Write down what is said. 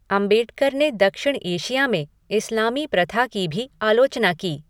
अम्बेडकर ने दक्षिण एशिया में इस्लामी प्रथा की भी आलोचना की।